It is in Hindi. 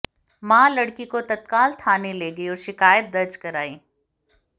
मां लड़की को तत्काल थाने ले गई और शिकायत दर्ज कराई